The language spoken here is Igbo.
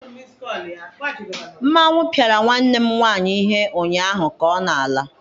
Mmanwu piara nwanne m nwanyị ihe ụnyahụ, ka ọ na-ala.